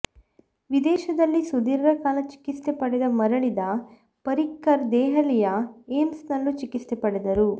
ವಿದೇಶದಲ್ಲಿ ಸುದೀರ್ಘ ಕಾಲ ಚಿಕಿತ್ಸೆ ಪಡೆದ ಮರಳಿದ ಪರಿಕ್ಕರ್ ದೆಹಲಿಯ ಏಮ್ಸ್ ನಲ್ಲೂ ಚಿಕಿತ್ಸೆ ಪಡೆದರು